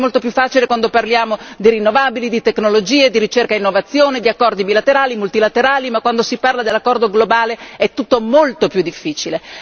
Sappiamo che è molto più facile quando parliamo di rinnovabili, di tecnologie, di ricerca e innovazione, di accordi bilaterali, multilaterali, ma quando si parla dell'accordo globale tutto molto più difficile.